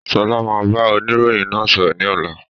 Sọlá máa bá oniroyin náà sọ̀rọ̀ ni ọ̀la.